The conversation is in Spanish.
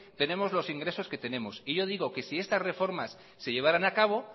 tenemos los ingresos que tenemos y yo digo que si estas reformas se llevaran a cabo